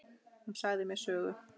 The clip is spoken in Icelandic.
Hún sagði mér sögur.